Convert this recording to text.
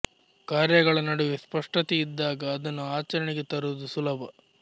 ಕಾರ್ಯಗಳ ನಡುವೆ ಸ್ಪಷ್ಟತೆ ಇದ್ದಾಗ ಅದನ್ನು ಅಚರಣೆಗೆ ತರುವುದು ಸುಲಭ